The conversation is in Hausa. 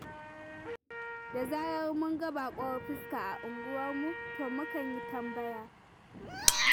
Da zarar mun ga baƙuwar fuska a unguwarmu, to mu kan yi tambaya.